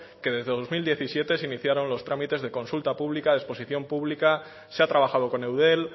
que desde dos mil diecisiete se iniciaron los trámites de consulta pública de exposición pública se ha trabajado con eudel